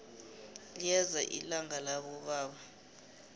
liyeza ilanga labobaba